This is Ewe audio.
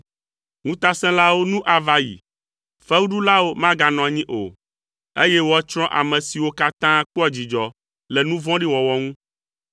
Ŋutasẽlawo nu ava yi, fewuɖulawo maganɔ anyi o, eye woatsrɔ̃ ame siwo katã kpɔa dzidzɔ le nu vɔ̃ɖi wɔwɔ ŋu,